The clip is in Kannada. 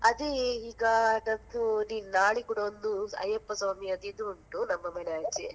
ಅದೇ ಈಗ, ನಂದು ಇದು ನಂದು ನಾಳೆ ಕೂಡ ಒಂದು ಅಯ್ಯಪ್ಪ ಸ್ವಾಮಿಯದು ಇದು ಉಂಟು ನಮ್ಮ ಮನೆ ಆಚೆ.